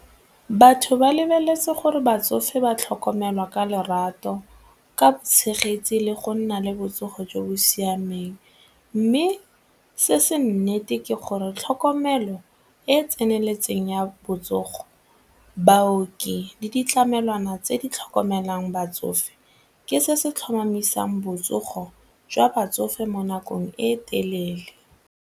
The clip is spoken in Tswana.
Batho ba lebeletse gore batsofe ba tlhokomelwa ka lerato, ka tshegetse le go nna le botsogo jo bo siameng mme se se nnete ke gore tlhokomelo e e tseneletseng ya botsogo baoki le ditlamelwana tse di tlhokomelang batsofe ke se se tlhomamisang botsogo jwa batsofe mo nakong e telele.